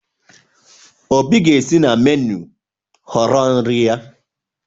Obi ga-esi na meenụ họrọ nri ya.